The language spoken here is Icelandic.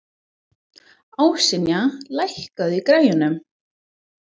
Ásynja, lækkaðu í græjunum.